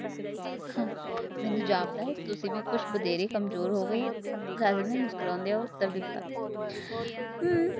ਮੈਨੂੰ ਜਾਪਦਾ ਤੁਸੀ ਵੀ ਕੁਛ ਵਦੇਰ ਕਮਜ਼ੋਰ ਹੋ ਗਏ ਹੋ ਰਾਜਨ ਨੇ ਮੁਸਕ੍ਰਦੇ ਉਤਰ ਦਿਤਾ